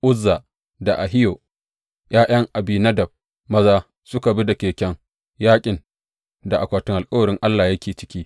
Uzza da Ahiyo, ’ya’yan Abinadab maza, suka bi da keken yaƙin da akwatin alkawarin Allah yake ciki suka bi da keken yaƙin da akwatin alkawarin Allah yake ciki.